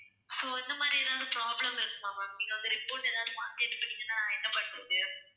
so இந்த மாதிரி எதாவது problem இருக்குமா ma'am நீங்க வந்து report எதாவது மாத்தி எடுத்திங்கனா நான் என்ன பண்றது?